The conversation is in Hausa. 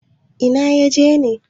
Ina ya je ne?